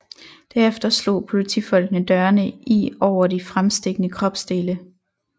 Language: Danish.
Derefter slog politifolkene dørene i over de fremstikkende kropsdele